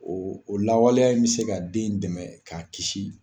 O o lawaleya in bɛ se ka den in dɛmɛ k'a kisi.